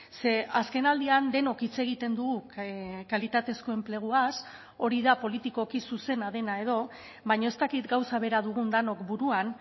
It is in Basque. ze azkenaldian denok hitz egiten dugu kalitatezko enpleguaz hori da politikoki zuzena dena edo baina ez dakit gauza bera dugun denok buruan